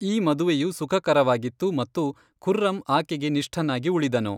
ಈ ಮದುವೆಯು ಸುಖಕರವಾಗಿತ್ತು ಮತ್ತು ಖುರ್ರಂ ಆಕೆಗೆ ನಿಷ್ಠನಾಗಿ ಉಳಿದನು.